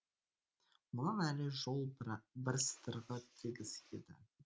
мұнан әрі жол бір сыдырғы тегіс еді